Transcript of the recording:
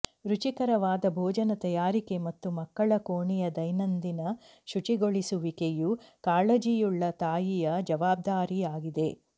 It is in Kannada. ರುಚಿಕರವಾದ ಭೋಜನ ತಯಾರಿಕೆ ಮತ್ತು ಮಕ್ಕಳ ಕೋಣೆಯ ದೈನಂದಿನ ಶುಚಿಗೊಳಿಸುವಿಕೆಯು ಕಾಳಜಿಯುಳ್ಳ ತಾಯಿಯ ಜವಾಬ್ದಾರಿಯಾಗಿದೆ